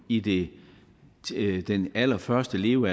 i de allerførste leveår